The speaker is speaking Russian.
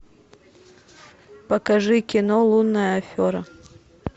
покажи кино лунная афера